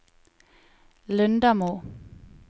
Lundamo